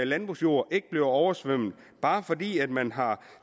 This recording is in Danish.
landbrugsjorden ikke bliver oversvømmet bare fordi man har